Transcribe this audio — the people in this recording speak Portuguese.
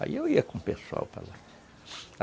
Aí eu ia com o pessoal para lá.